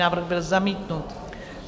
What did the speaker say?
Návrh byl zamítnut.